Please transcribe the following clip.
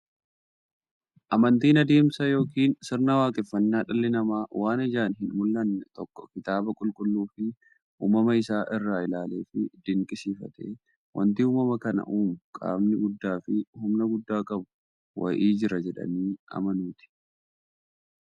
Amantiin adeemsa yookiin sirna waaqeffannaa dhalli namaa waan ijaan hinmullanne tokko kitaaba qulqulluufi uumama isaa isaa ilaaleefi dinqisiifatee, wanti uumama kana uumu qaamni guddaafi humna guddaa qabu wa'ii jira jedhanii amanuuti.